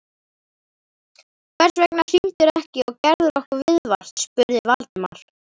Hvers vegna hringdirðu ekki og gerðir okkur viðvart? spurði Valdimar.